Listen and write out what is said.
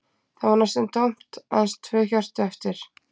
Það var næstum tómt, aðeins tvö hjörtu eftir, en þau urðu að duga.